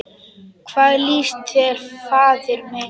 Hvað líst þér, faðir minn?